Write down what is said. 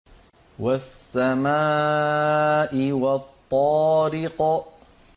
وَالسَّمَاءِ وَالطَّارِقِ